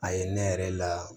A ye ne yɛrɛ la